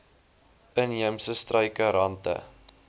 inheemse struike rante